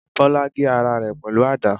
Bola gé ara rẹ pẹlu àda